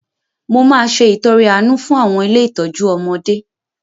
Mo máa se ìtọre àánú fún àwọn ilé ìtọ́jú ọmọdé